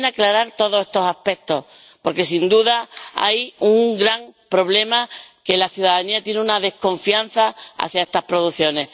Conviene aclarar todos estos aspectos, porque sin duda hay un gran problema que la ciudadanía tiene una desconfianza hacia estas producciones.